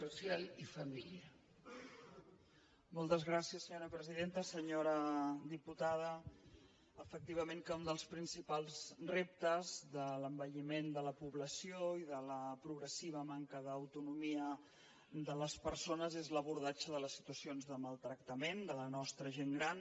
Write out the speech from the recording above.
senyora diputada efectivament que un dels principals reptes de l’envelliment de la població i de la progressiva manca d’autonomia de les persones és l’abordatge de les situacions de maltractament de la nostra gent gran